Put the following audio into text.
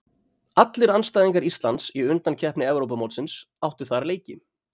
Allir andstæðingar Íslands í undankeppni Evrópumótsins áttu þar leiki.